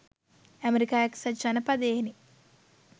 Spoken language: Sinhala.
ඇමරිකා එකසත් ජනපදයෙනි.